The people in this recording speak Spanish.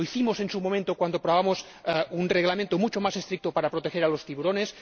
Lo hicimos en su momento cuando aprobamos un Reglamento mucho más estricto para proteger a los tiburones.